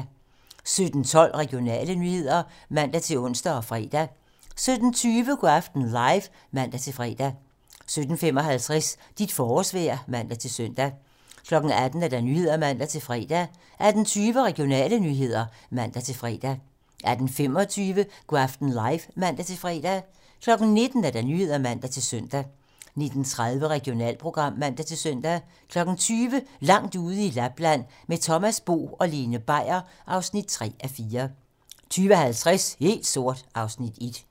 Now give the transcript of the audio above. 17:12: Regionale nyheder (man-ons og fre) 17:20: Go' aften live (man-fre) 17:55: Dit forårsvejr (man-søn) 18:00: 18 Nyhederne (man-fre) 18:20: Regionale nyheder (man-fre) 18:25: Go' aften live (man-fre) 19:00: 19 Nyhederne (man-søn) 19:30: Regionalprogram (man-søn) 20:00: Langt ude i Lapland - Med Thomas Bo og Lene Beier (3:4) 20:50: Helt sort (Afs. 1)